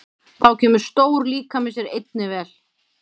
Þá kemur stór líkami sér einnig vel.